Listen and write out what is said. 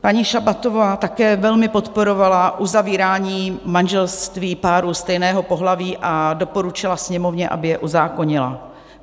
Paní Šabatová také velmi podporovala uzavírání manželství párů stejného pohlaví a doporučila Sněmovně, aby je uzákonila.